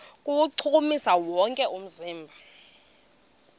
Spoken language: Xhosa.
kuwuchukumisa wonke umzimba